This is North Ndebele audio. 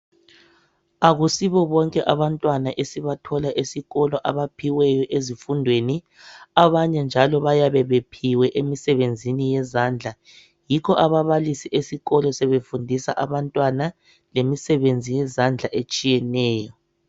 Akusibo bonke abantwana esibathola esikolo abaphiweyo ezifundweni. Abanye njalo bayabe bephiwe emsebenzini yezandla, yikho ababalisi esikolo sebefundisa abantwana lemisebenzi yezandla etshiyeneyo.